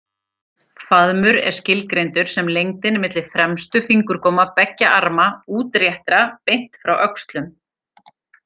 Faðmur er skilgreindur sem lengdin milli fremstu fingurgóma beggja arma útréttra beint frá öxlum.